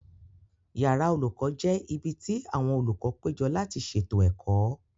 Yàrá olùkọ́ jẹ́ ibi tí àwọn olùkọ́ péjọ láti ṣètò ẹ̀kọ́